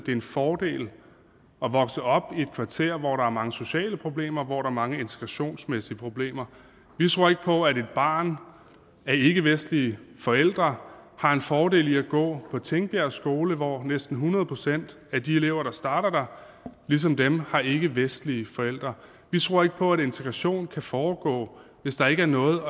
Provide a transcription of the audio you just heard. en fordel at vokse op i et kvarter hvor der er mange sociale problemer og hvor der er mange integrationsmæssige problemer vi tror ikke på at et barn af ikkevestlige forældre har en fordel i at gå på tingbjerg skole hvor næsten hundrede procent af de elever der starter der ligesom dem har ikkevestlige forældre vi tror ikke på at integration kan foregå hvis der ikke er noget